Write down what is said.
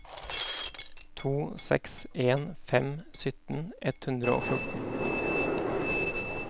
to seks en fem sytten ett hundre og fjorten